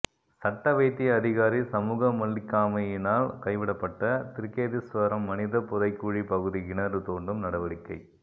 சட்ட வைத்திய அதிகாரி சமூகமளிக்காமையினால் கைவிடப்பட்ட திருக்கேதீஸ்வரம் மனித புதைகுழி பகுதி கிணறு தோண்டும் நடவடிக்கை